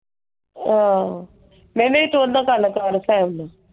ਆਹੋ। ਨਹੀਂ ਨਹੀਂ ਤੂੰ ਉਹਦਾਂ ਕਰਲਾ ਫੈਮਲੀ।